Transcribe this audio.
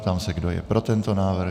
Ptám se, kdo je pro tento návrh.